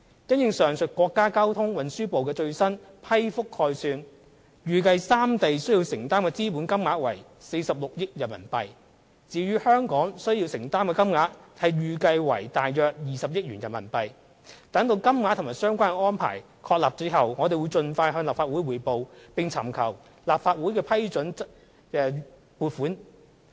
因應上述國家交通運輸部的最新批覆概算，預計三地需要承擔的資本金額為約46億元人民幣；至於港方需承擔的金額則預計為約20億元人民幣，待金額及相關安排確定後，我們會盡快向立法會匯報，並尋求立法會批准撥款。